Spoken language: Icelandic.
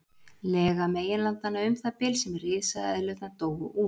Lega meginlandanna um það bil sem risaeðlurnar dóu út.